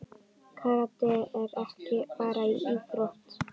Karate er ekki bara íþrótt.